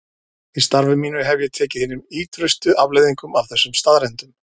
Í starfi mínu hef ég tekið hinum ýtrustu afleiðingum af þessum staðreyndum.